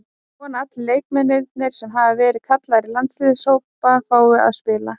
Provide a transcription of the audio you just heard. Ég vona að allir leikmennirnir sem hafa verið kallaðir í landsliðshópa fái að spila.